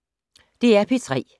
DR P3